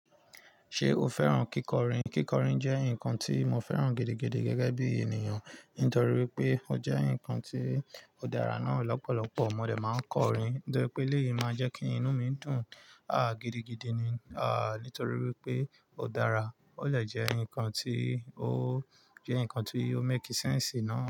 Ṣé o fẹ́ràn kíkọrin? Kíkọrin jẹ́ nǹkan tí mo fẹ́ràn gidigidi gẹ́gẹ́ bí ènìyàn, nítorí pé ó jẹ́ nǹkan tí ó dára náà. Ọ̀pọ̀lọpọ̀ mọdé máa ń kọrin, to yẹ pé eléyìí máa jẹ́ kí inú mi dùn, ah, gidigidi ni, ah, nítorí wípé ó dára. Ó dẹ jẹ́ nǹkan tí ó jẹ́ nǹkan tí yóò make sense náà.